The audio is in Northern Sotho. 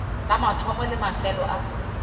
le mathomo le mafelelo a